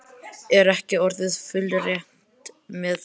Er ekki orðið fullreynt með það?